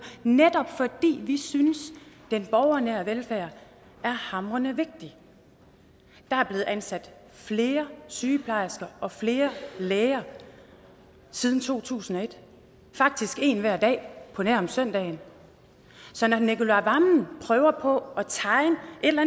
netop fordi vi synes den borgernære velfærd er hamrende vigtig der er blevet ansat flere sygeplejersker og flere læger siden to tusind og et faktisk en hver dag på nær om søndagen så når herre nicolai wammen prøver på at tegne et eller